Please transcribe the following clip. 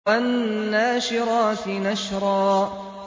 وَالنَّاشِرَاتِ نَشْرًا